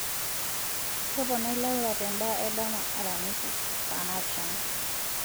toponai laura tendaa edama aramisi saa naapishana